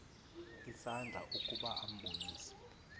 isandla ukuba ambulise